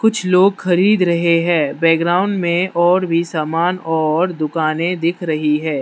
कुछ लोग खरीद रहे हैं बैकग्राउंड में और भी सामान और दुकाने दिख रही है।